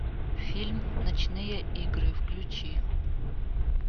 фильм ночные игры включи